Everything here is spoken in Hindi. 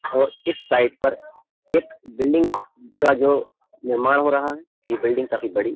और इस साइड पर एक बिल्डिंग का जो निर्माण हो रहा है ये बिल्डिंग काफी बड़ी --